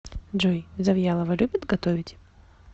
джой завьялова любит готовить